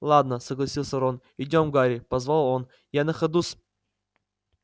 ладно согласился рон идём гарри позвал он я на ходу с